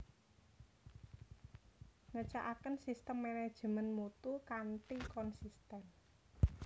Ngecakaken sistem manajemen mutu kanthi konsisten